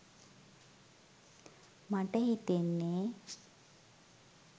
මට හි‌තෙන්‌නේ.